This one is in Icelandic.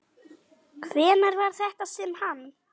Hvenær var þetta sem hann.